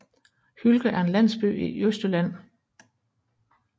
Hylke er en landsby i Østjylland med